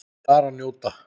Bara njóta.